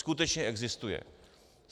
Skutečně existuje.